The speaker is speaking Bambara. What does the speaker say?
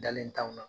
Dalen t'anw na